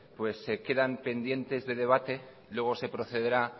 quedan pendientes de debate luego se procederá